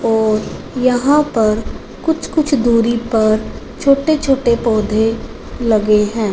और यहां पर कुछ कुछ दूरी पर छोटे छोटे पौधे लगे हैं।